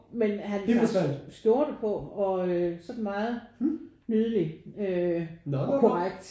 Men han tager skjorte på og øh sådan meget nydelig øh og korrekt